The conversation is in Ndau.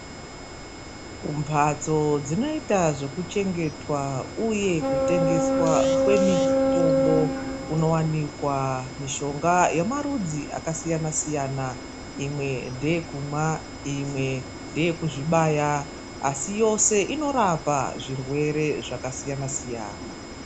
Kumbatso dzinoita zvekuchengetwa uye kutengeswa kwemitombo kunowanikwa mishonga yemarudzi akasiyana siyana . Imwe ndeyekumwa imwe ndeyekuzvibaya asi yose inorapa zvirwere zvakasiyana siyana.